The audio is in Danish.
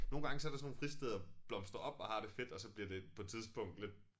Nogle gange så der sådan nogle fristeder blomstrer op og har det fedt og så bliver det på et tidspunkt lidt